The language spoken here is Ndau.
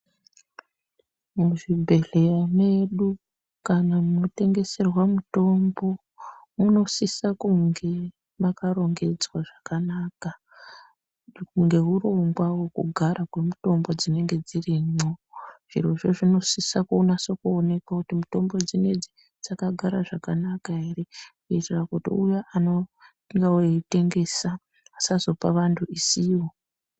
Muzvibhedhlera medu kana munotengeserwa mutombo munosisa kunge makarongedzwa zvakanaka ngeurongwa hwekugara kwemutombo dzinenge dzirimwo chirocho chinosise kunasa kuoneka kuti mitombo dzineidzi dzakagara zvakanaka here kuitira kuti uya anonga eitengesa asazopa vantu isiyo.